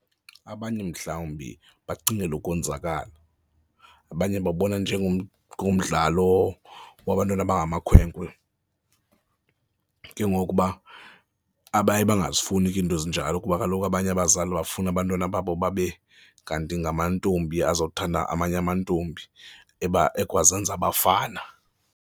Abanye mhlawumbi bacingela ukonzakala. Abanye babona ngomdlalo wabantwana abangamakhwenkwe. Ke ngoku uba abaye bangazifuni ke iinto ezinjalo kuba kaloku abanye abazali bafuna abantwana babo babe kanti ngamantombi aza kuthanda amanye amantombi ekwazenza abafana.